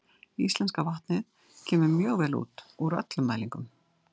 Íslenska vatnið kemur mjög vel út úr öllum mælingum.